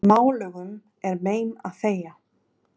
Málugum er mein að þegja.